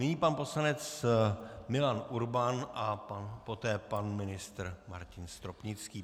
Nyní pan poslanec Milan Urban a poté pan ministr Martin Stropnický.